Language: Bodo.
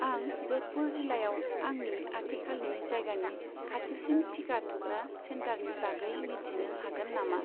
आं ज'धपुर जिल्लायाव आंनि आथिखालनि जायगानि खाथिसिन थिखा थुग्रा सेन्टारनि बागै मिथिनो हागोन नामा?